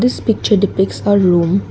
this picture depicts a room.